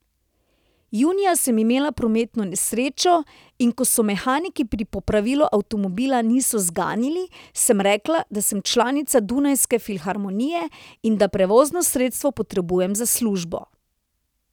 Junija sem imela prometno nesrečo, in ko se mehaniki pri popravilu avtomobila niso zganili, sem rekla, da sem članica Dunajske filharmonije in da prevozno sredstvo potrebujem za službo.